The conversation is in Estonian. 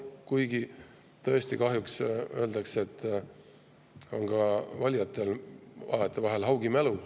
Kuigi kahjuks tõesti öeldakse, et ka valijatel on vahetevahel haugi mälu.